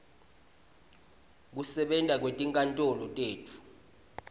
kusebenta kwetinkantolo tetfu